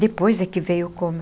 Depois é que veio o coma.